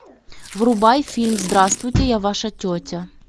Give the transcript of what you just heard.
врубай фильм здравствуйте я ваша тетя